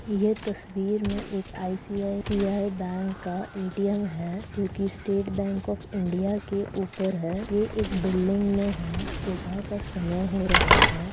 ये तस्वीर मे एक आई_सी_आई_सी_आई बैंक का ए_टी_ एम है जो की स्टेट बैंक ऑफ़ इंडिया के ऊपर है ये के बिल्डिंग मे है सुबह का समय हो रहा है।